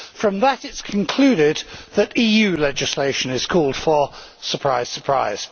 From that it is concluded that EU legislation is called for surprise, surprise.